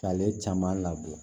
K'ale caman labɔ